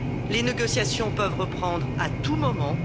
Les négociations peuvent reprendre à tout moment.